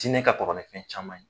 Diinɛ ka kɔrɔ ni fɛn caman ye.